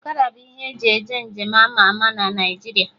Ọkada bụ ihe eji eje nje m ama ama na Naijiria